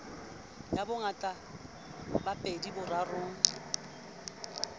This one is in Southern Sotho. ya bongata ba pedi borarong